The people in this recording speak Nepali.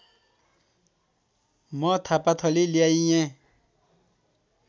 म थापाथली ल्याइएँ